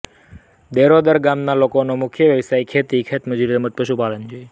દેરોદર ગામના લોકોનો મુખ્ય વ્યવસાય ખેતી ખેતમજૂરી તેમ જ પશુપાલન છે